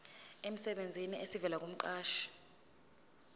emsebenzini esivela kumqashi